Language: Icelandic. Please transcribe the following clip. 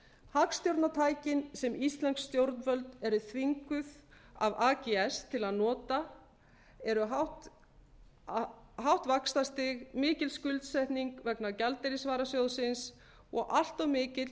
hagstjórnartækin sem íslensk stjórnvöld eru þvinguð af ags til að nota eru hátt vaxtastig mikil skuldsetning vegna gjaldeyrisvarasjóðsins og allt of mikill